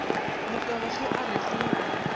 mokaba ge a re go